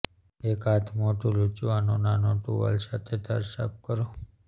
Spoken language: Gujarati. એક હાથમોઢું લૂછવાનો નાનો ટુવાલ સાથે ધાર સાફ કરો